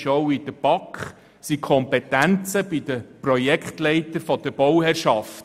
Es sind die Kompetenzen der Projektleiter der Bauherrschaft.